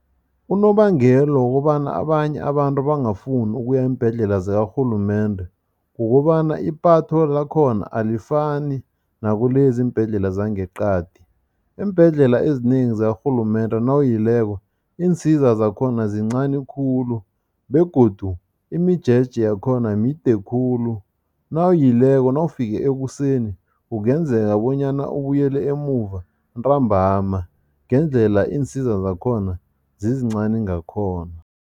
Unobangela wokobana abanye abantu bangafuni ukuya eembhedlela zikarhulumende, kukobana ipatho lakhona alifani nakulezi iimbhedlela zangeqadi. Iimbhedlela ezinengi zakarhulumende nawuyileko, iinsiza zakhona zincani khulu begodu imijeje yakhona mide khulu. Nawuyileko, nawufike ekuseni kungenzeka bonyana ubuyele emuva ntambama, ngendlela iinsiza zakhona zizincani ngakhona.